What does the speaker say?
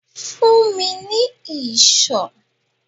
Fún mi ní ìṣó!